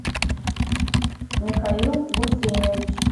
михаил гусейнович